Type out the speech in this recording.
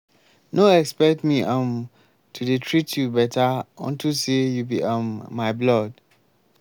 no expect me um to dey treat you beta unto say you be um my blood.